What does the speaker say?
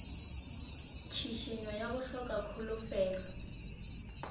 tšhišinyo ya go hloka kholofelo